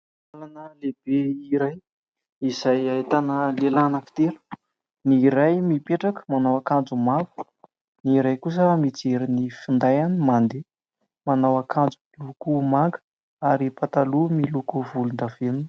Làlana lehibe iray izay ahitana lehilahy anankitelo. Ny iray mipetraka manao akanjo mavo, ny iray kosa mijery ny findainy mandeha, manao akanjo miloko manga ary pataloha miloko volon-davenona.